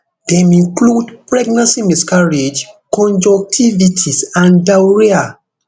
dem include pregnancy miscarriage conjunctivitis and diarrhoea